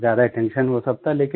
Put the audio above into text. ज्यादा अटेंशन वो सब था